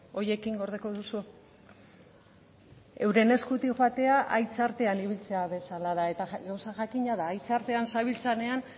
horiekin gordeko duzu euren eskutik joatea haitzartean ibiltzea bezala da eta gauza jakina da haitzartean zabiltzanean